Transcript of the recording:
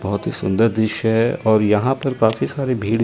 बहोत ही सुंदर दृश्य है और यहां पर काफी सारे भीड़--